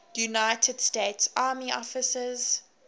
united states army officers